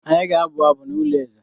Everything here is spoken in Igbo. Anyị ga-abụ abụ n’ụlọ eze.